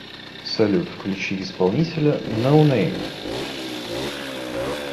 салют включи исполнителя ноунэйм